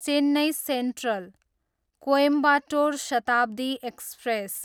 Chennai central, Coimbatore Shatabdi express